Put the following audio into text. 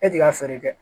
E t'i ka feere kɛ